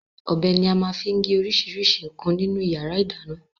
Ọbẹ̀ ni a máa ń fi gé oríṣiríṣi nǹkan nínú ìyàrá-ìdáná.